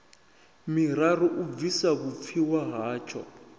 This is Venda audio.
miraru u bvisa vhupfiwa hatsho